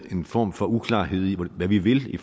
er en form for uklarhed om hvad vi vil i